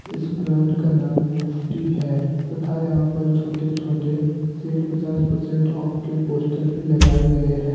इस ब्रांड का नाम मुफ्टी है तथा यहां पर छोटे छोटे सेल पचास पर्सेंट ऑफ के पोस्टर भी लगाए गए हैं।